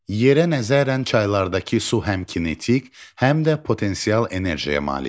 Yerə nəzərən çaylardakı su həm kinetik, həm də potensial enerjiyə malikdir.